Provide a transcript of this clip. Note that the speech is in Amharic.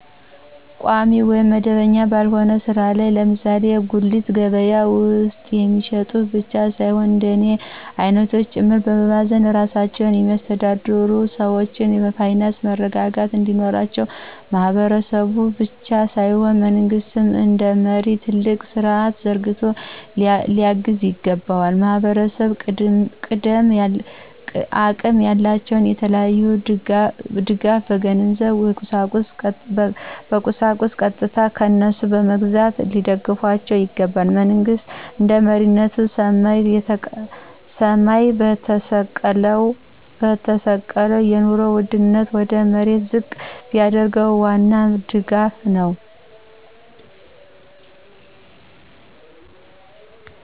ቋሚ ወይም መደበኛ ባልሆነ ሥራ ላይ ለምሳሌ በጉልት ገበያ ውስጥ የሚሸጡ ብቻ ሳይሆን እንደኔ አይነቶች ጭምር በመባዘን ራሳቸውን የሚያስተዳድሩ ሰዎች የፋይናንስ መረረጋጋት እንዲኖራቸው ማህበረሰቡ ብቻ ሳይሆን መንግስት እንደመሪ ትልቅ ስርዐት ዘርግቶ ሊያግዝ ይገባዋል። ማህበረሰቡ አቅም ያላቸው የተለያየ ድጋፍ የገንዘብ የቁሳቁስ ቀጥታ ከነሱ በመግዛት ሊደግፏቸው ይገባል። መንግሥት እንደመሪነቱ ሰማይ የተሰቀለውን የኑሮ ውድነት ወደ መሬት ዝቅ ቢያደርገው ዋናው ድጋፍ ነው።